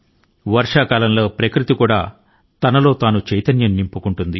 వర్ష కాలం లో ప్రకృతి తనను తాను చైతన్య పరుచుకొంటుంది